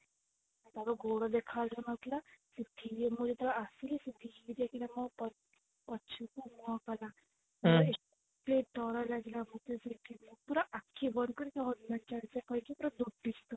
ତା ଗୋଡ ଦେଖା ଯାଉନଥିଲା ମୁଁ ଯେତେବେଳେ ଆସିଲି ସେ ଧୀରେ ଯାଇକିନା ମୋ ମୋ ପଛକୁ ମୁହଁ କଲା ଭାରି ଡରଲାଗିଲା ମତେ ସେଠି ପୁରା ଆଖି ବନ୍ଦ କରି ହନୁମାନ ଚାଳିଶା କହିକି ପୁରା ଦୌଡିଛି ତଳକୁ